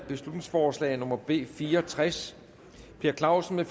beslutningsforslag nummer b fire og tres per clausen